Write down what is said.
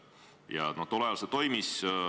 Ja tol ajal see toimis.